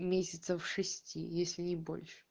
месяцев шести если не больше